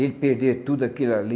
Ele perder tudo aquilo ali.